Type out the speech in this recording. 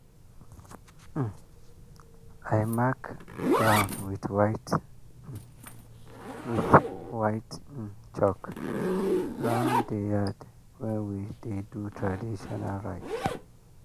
um i mark ground with white um with white um chalk round the yard when we dey do traditional rite.